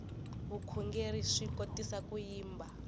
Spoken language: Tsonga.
vukhongerhi swi kotisa ku yimba